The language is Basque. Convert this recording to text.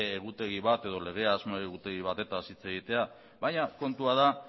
egutegi bat edo lege asmo egutegi batetaz hitz egitea baina kontua da